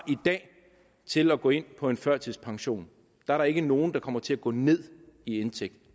til at gå ind på en førtidspension der er ikke nogen der kommer til at gå ned i indtægt